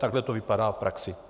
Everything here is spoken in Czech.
Takhle to vypadá v praxi.